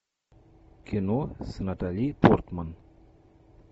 кино с натали портман